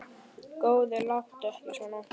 Góði, láttu ekki svona.